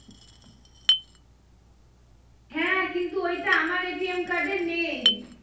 হ্যাঁ কিন্তু ওইটা আমার এ নেই